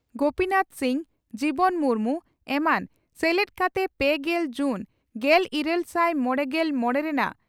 ᱜᱚᱯᱤᱱᱟᱛᱷ ᱥᱤᱝ ᱡᱤᱵᱚᱱ ᱢᱩᱨᱢᱩ ᱮᱢᱟᱱ ᱥᱮᱞᱮᱫ ᱠᱟᱛᱮ ᱯᱮᱜᱮᱞ ᱡᱩᱱ ᱜᱮᱞ ᱤᱨᱟᱞ ᱥᱟᱭ ᱢᱚᱲᱮᱜᱮᱞ ᱢᱚᱲᱮ ᱨᱮᱱᱟᱜ